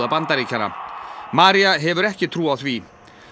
Bandaríkjanna María hefur ekki trú á því